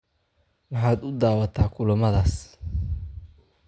Maxaad u daawataa kulammadaas?